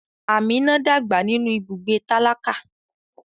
Amina dàgbà nínú ibùgbé tálákà.